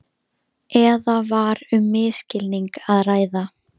Eða var um misskilning að ræða.